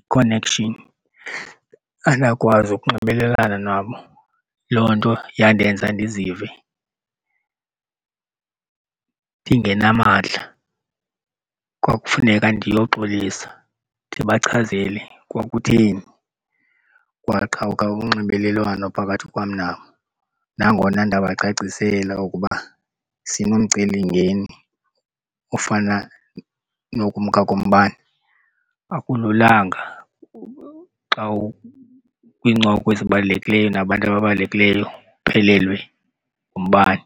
i-connection, andakwazi ukunxibelelana nabo. Loo nto yandenza ndizive ndingenamadla. Kwakufuneka ndiyoxolisa ndibachazele kwakutheni kwaqhawuka unxibelelwano phakathi kwam nabo. Nangona ndabacacisela ukuba sinomcelimngeni ofana nokumka kombane. Akululanga xa ukwiincoko ezibalulekileyo nabantu ababalulekileyo uphelelwe ngumbane.